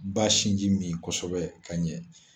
Ba sinji min kosɛbɛ ka ɲɛ